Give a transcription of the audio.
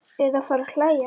Eða fara að hlæja.